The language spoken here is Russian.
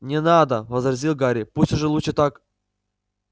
не надо возразил гарри пусть уже лучше так